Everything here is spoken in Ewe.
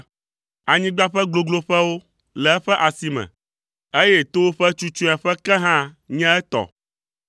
Anyigba ƒe gogloƒewo le eƒe asi me, eye towo ƒe tsutsueƒe ke hã nye etɔ.